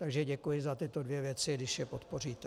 Takže děkuji za tyto dvě věci, když je podpoříte.